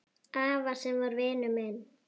Afa sem var vinur minn.